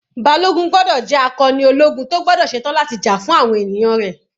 Balogun gbọ́dọ̀ jẹ́ akọni ológun tó gbọ́dọ̀ ṣe tán láti jà fún àwọn ènìyàn rẹ̀.